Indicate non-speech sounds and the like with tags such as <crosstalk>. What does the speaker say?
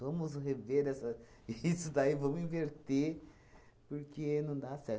Vamos rever essa <laughs> isso daí, vamos inverter, porque não dá certo.